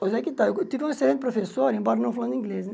Pois é que tá, eu tive um excelente professor, embora não falando inglês, né?